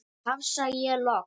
tafsa ég loks.